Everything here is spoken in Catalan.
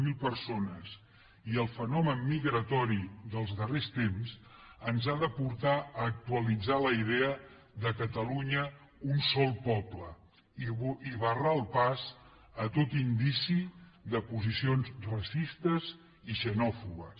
zero persones i el fenomen migratori dels darrers temps ens ha de portar a actualitzar la idea de catalunya un sol poble i a barrar el pas a tot indici de posicions racistes i xenòfobes